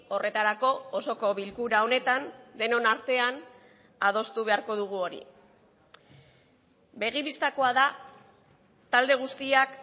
horretarako osoko bilkura honetan denon artean adostu beharko dugu hori begi bistakoa da talde guztiak